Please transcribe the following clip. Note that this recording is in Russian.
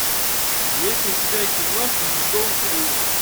есть ли у тебя кино ледниковый период